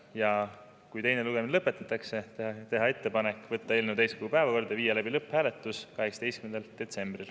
Ja kui teine lugemine lõpetatakse, on meil ettepanek võtta eelnõu täiskogu päevakorda ja viia läbi lõpphääletus 18. detsembril.